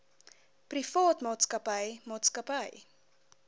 privaat maatskappy maatskappy